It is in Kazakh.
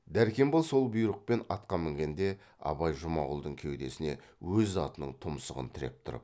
дәркембай сол бұйрықпен атқа мінгенде абай жұмағұлдың кеудесіне өз атының тұмсығын тіреп тұрып